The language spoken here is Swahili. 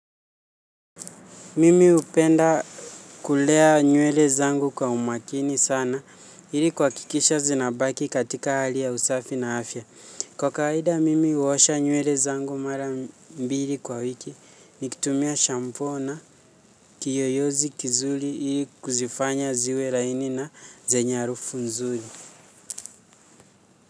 Mimi hupenda kulea nywele zangu kwa umakini sana ili kuhakikisha zinabaki katika hali ya usafi na afya. Kwa kawaida, mimi huosha nywele zangu mara mbili kwa wiki, nikitumia shampoo na kiyoyozi kizuri ili kuzifanya ziwe laini na zenye harufu nzuri.